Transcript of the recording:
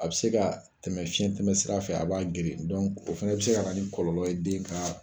A bɛ se ka tɛmɛ fiɲɛtɛmɛ sira fɛ a b'a geren o fɛnɛ bɛ se ka na ni kɔlɔlɔ ye den ka.